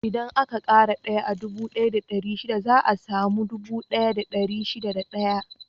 Idan aka ƙara daya a dubu ɗaya da ɗari shida za a samu dubu ɗaya da dari shida da ɗaya.